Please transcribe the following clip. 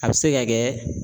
A bɛ se ka kɛ